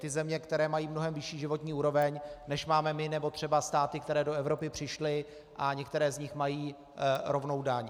Ty země, které mají mnohem vyšší životní úroveň, než máme my nebo třeba státy, které do Evropy přišly, a některé z nich mají rovnou daň.